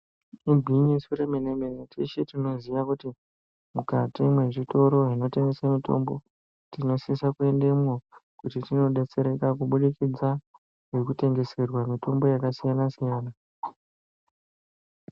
Igwinyiso remene-mene teshe tinoziya kuti mukati mwezvitoro zvinotengese mitombo tinosisa kuendemwo kuti tinodetsereka kubudikidza ngekutengeserwa mitombo yakasiyana-siyana.